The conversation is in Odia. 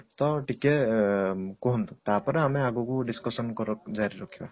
ତ ଟିକେ ଅ କୁହନ୍ତୁ ତାପରେ ଆମେ ଆଗକୁ discussion କର ଜାରି ରଖିବା